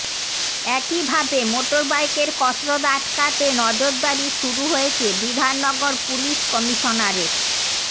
একই ভাবে মোটরবাইকের কসরত আটকাতে নজরদারি শুরু হয়েছে বিধাননগর পুলিশ কমিশনারেট